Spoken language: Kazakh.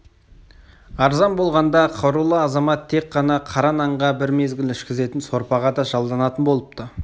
арзан болғанда қарулы азамат тек қана қара нанға бір мезгіл ішкізетін сорпаға да жалданатын болыпты